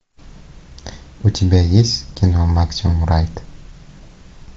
у тебя есть кино максимум райд